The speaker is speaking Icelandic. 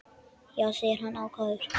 Já, segir hann ákafur.